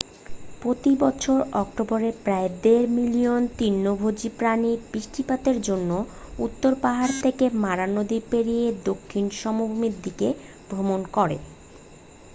প্রতি বছর অক্টোবরে প্রায় দেড় মিলিয়ন তৃণভোজী প্রাণী বৃষ্টিপাতের জন্য উত্তর পাহাড় থেকে মারা নদী পেরিয়ে দক্ষিণ সমভূমির দিকে ভ্রমণ করে